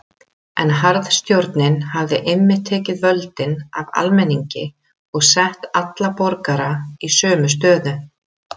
En harðstjórnin hafði einmitt tekið völdin af almenningi og sett alla borgara í sömu stöðu.